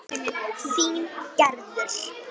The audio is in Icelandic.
Þín Gerður.